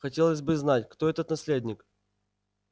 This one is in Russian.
хотелось бы знать кто этот наследник